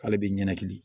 K'ale bɛ ɲɛnɛkili